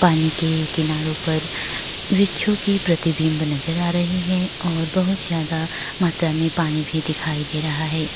पानी के किनारो पर वृक्षों की प्रतिबिंब नजर आ रही है और बहुत ज्यादा मात्रा में पानी भी दिखाई दे रहा है।